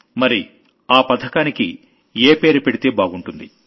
మరి ఆ పథకానికి ఏ పేరు పెడితే బాగుంటుంది